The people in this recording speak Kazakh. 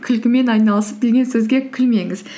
күлкімен айналысып деген сөзге күлмеңіз